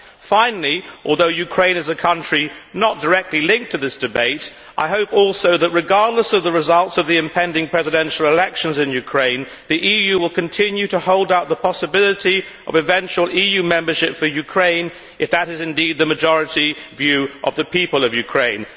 Finally, although Ukraine is a country not directly linked to this debate, I hope also that, regardless of the results of the impending presidential elections in Ukraine, the EU will continue to hold out the possibility of eventual EU membership for Ukraine, if that is indeed the majority view of the people of Ukraine.